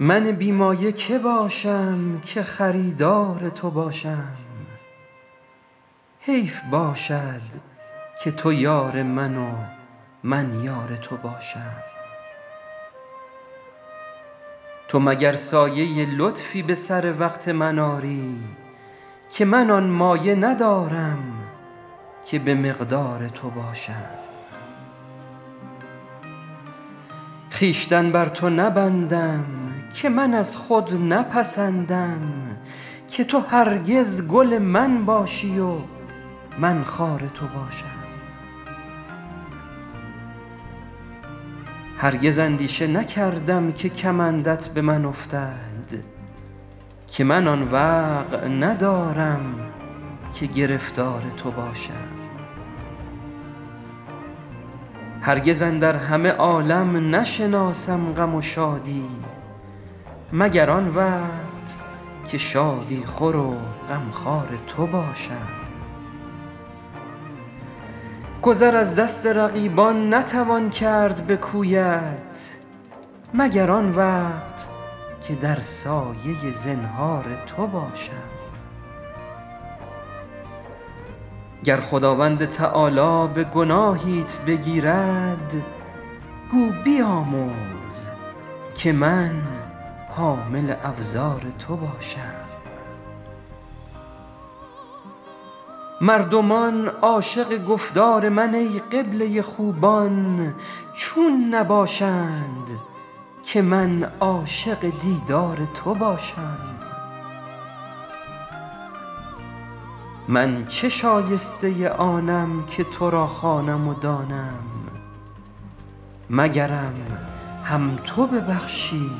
من بی مایه که باشم که خریدار تو باشم حیف باشد که تو یار من و من یار تو باشم تو مگر سایه لطفی به سر وقت من آری که من آن مایه ندارم که به مقدار تو باشم خویشتن بر تو نبندم که من از خود نپسندم که تو هرگز گل من باشی و من خار تو باشم هرگز اندیشه نکردم که کمندت به من افتد که من آن وقع ندارم که گرفتار تو باشم هرگز اندر همه عالم نشناسم غم و شادی مگر آن وقت که شادی خور و غمخوار تو باشم گذر از دست رقیبان نتوان کرد به کویت مگر آن وقت که در سایه زنهار تو باشم گر خداوند تعالی به گناهیت بگیرد گو بیامرز که من حامل اوزار تو باشم مردمان عاشق گفتار من ای قبله خوبان چون نباشند که من عاشق دیدار تو باشم من چه شایسته آنم که تو را خوانم و دانم مگرم هم تو ببخشی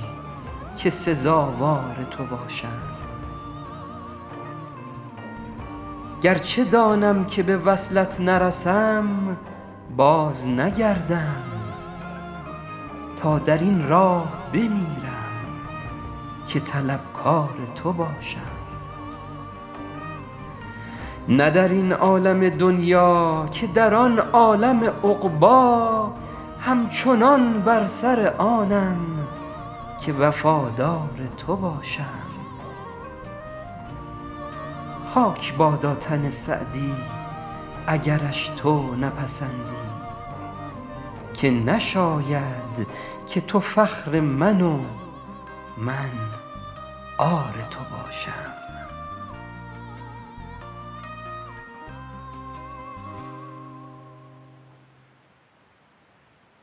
که سزاوار تو باشم گرچه دانم که به وصلت نرسم بازنگردم تا در این راه بمیرم که طلبکار تو باشم نه در این عالم دنیا که در آن عالم عقبی همچنان بر سر آنم که وفادار تو باشم خاک بادا تن سعدی اگرش تو نپسندی که نشاید که تو فخر من و من عار تو باشم